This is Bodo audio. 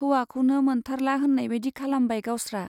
हौवाखौनो मोनथारला होन्नायबादि खालामबाय गावस्रा।